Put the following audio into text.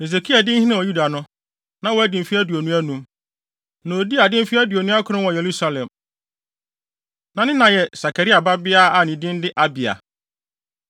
Hesekia dii hene wɔ Yuda no, na wadi mfe aduonu anum. Na odii ade mfe aduonu akron wɔ Yerusalem. Na ne na yɛ Sakaria babea a ne din de Abia.